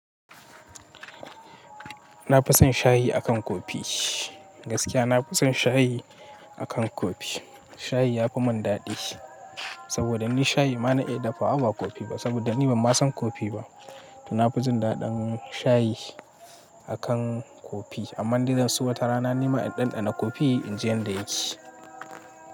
Na fi son shayi a kan kofi. Gaskiya na fi son shayi a kan kofi. Shayi ya fi mun daɗi. Saboda ni shayi ma na iya dafawa ba kofi ba. Saboda ni ban ma son kofi ba. To na fi jin daɗin shayi a kan kofi. Amma ni zan so wata rana ni ma in ɗanɗana kofi in ji yanda yake.